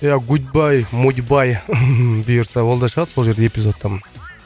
иә гуд бай моди бай бұйырса ол да шығады сол жерде эпизодтан